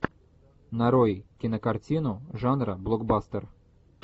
нарой кинокартину жанра блокбастер